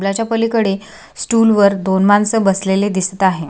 पूलाच्या पलीकडे स्टूल वर दोन माणस बसलेले दिसत आहे.